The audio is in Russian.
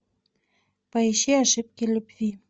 поищи ошибки любви